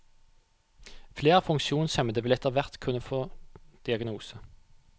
Flere funksjonshemmede vil etterhvert kunne få diagnose.